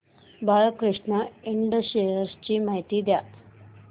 Balkrishna Ind shares ची माहिती द्या